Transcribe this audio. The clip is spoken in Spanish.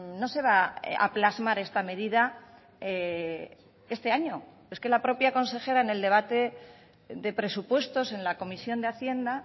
no se va a plasmar esta medida este año es que la propia consejera en el debate de presupuestos en la comisión de hacienda